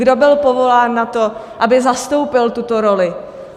Kdo byl povolán na to, aby zastoupil tuto roli?